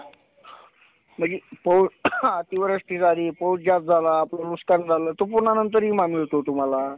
अनन्यसाधारण आहे. आपल्या दैनंदिन जीवनामध्ये पाण्याचा विविध प्रकारे उपयोग केला जातो. पाणि हे फक्त पिण्यासाठीच वापरले न जाता